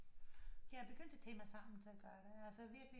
Jeg er begyndt at tage mig sammen til at gøre det altså virkelig